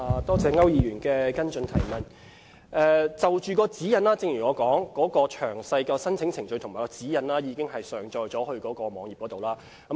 就着有關指引，正如我提到，詳細的申請程序和指引已經上載至網站。